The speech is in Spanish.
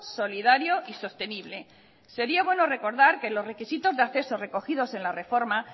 solidario y sostenible sería bueno recordar que los requisitos de acceso recogidos en la reforma